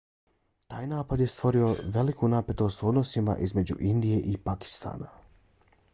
taj napad je stvorio veliku napetost u odnosima između indije i pakistana